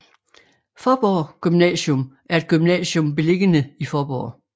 Faaborg Gymnasium er et gymnasium beliggende i Faaborg